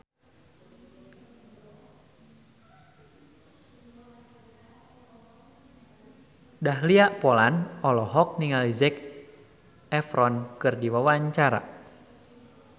Dahlia Poland olohok ningali Zac Efron keur diwawancara